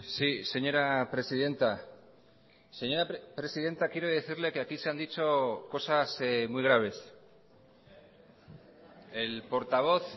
sí señora presidenta señora presidenta quiero decirle que aquí se han dicho cosas muy graves el portavoz